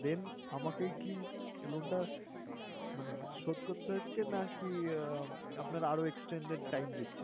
then আমাকে কি loan টা মানে শোধ করতে হচ্ছে, নাকি আহ আপনারা আরও extended time দিচ্ছেন?